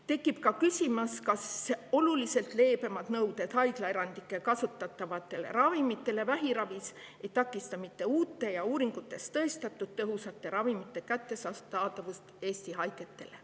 Tekib ka küsimus, kas haiglaerandit kasutatavatele vähiravi ravimitele kehtestatud oluliselt leebemad nõuded ei takista mitte uute ja uuringutega tõestatud tõhusate ravimite kättesaadavust Eesti haigetele.